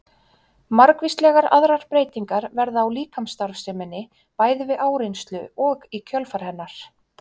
margvíslegar aðrar breytingar verða á líkamsstarfseminni bæði við áreynslu og í kjölfar hennar